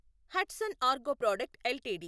Hudson agro product LTD